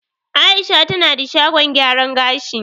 Aisha tana da shagon gyaran gashi